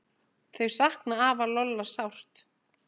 Þau sakna afa Lolla sárt.